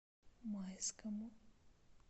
майскому